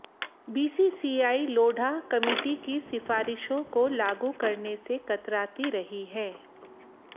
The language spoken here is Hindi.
बीसीसीआई लोढ़ा कमिटी की सिफ़ारिशों को लागू करने से कतराती रही है